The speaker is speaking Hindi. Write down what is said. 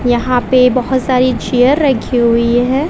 यहां पे बहोत सारी चेयर रखी हुई है।